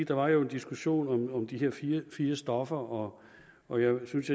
der var jo en diskussion om de her fire fire stoffer og og jeg synes